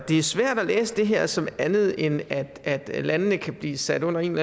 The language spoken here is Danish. er svært at læse det her som andet end at at landene kan blive sat under en